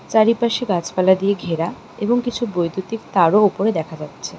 চারিপাশে গাছপালা দিয়ে ঘেরা এবং কিছু বৈদ্যুতিক তারও ওপরে দেখা যাচ্ছে।